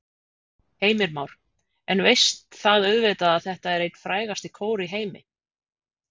Heimir Már: En veist það auðvitað að þetta er einn frægasti kór í heimi?